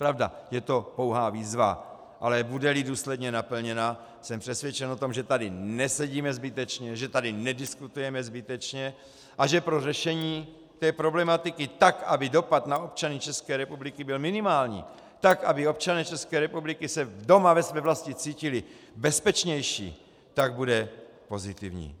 Pravda, je to pouhá výzva, ale bude-li důsledně naplněna, jsem přesvědčen o tom, že tady nesedíme zbytečně, že tady nediskutujeme zbytečně a že pro řešení té problematiky tak, aby dopad na občany České republiky byl minimální, tak aby občané České republiky se doma ve své vlasti cítili bezpečnější, bude pozitivní.